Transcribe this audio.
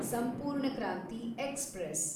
ಸಂಪೂರ್ಣ ಕ್ರಾಂತಿ ಎಕ್ಸ್‌ಪ್ರೆಸ್